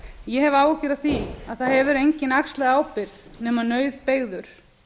ég hef áhyggjur af því að það hefur enginn axlað ábyrgð nema nauðbeygður